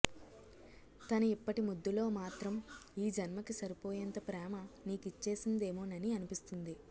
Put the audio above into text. తన ఇప్పటి ముద్దులో మాత్రం ఈ జన్మకి సరిపోయేంత ప్రేమ నీకిచ్చేసిందేమోనని అనిపిస్తుంది